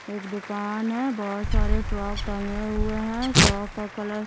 एक दुकान है बहुत सारे फ्रॉक टंगे हुए हैं फ्रॉक का कलर --